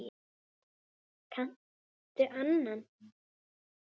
Kanntu annan?